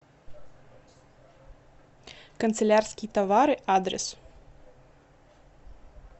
канцелярские товары адрес